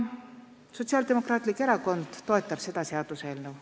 Sotsiaaldemokraatlik Erakond toetab seda seaduseelnõu.